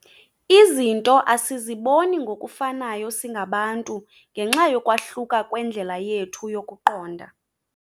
Izinto asiziboni ngokufanayo singabantu ngenxa yokwahluka kwendlela yethu yokuqonda.